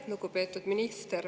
Lugupeetud minister!